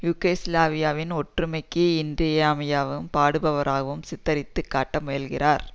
யூகோஸ்லாவியாவின் ஒற்றுமைக்கு இன்றியமையாகுவும் பாடுபடுவராகவும் சித்தரித்துக்காட்ட முயலுகிறார்